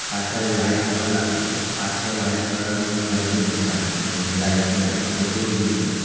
પાછળ લાઈટ એવું લાગેલું પાછળ વાઈટ કલર નું ઘરબી દેખાય ક નય એ રાઇટ માં એક ઝૂંપડું બી છે.